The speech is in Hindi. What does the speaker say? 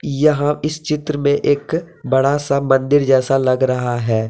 यहां इस चित्र में एक बड़ा सा मंदिर जैसा लग रहा है।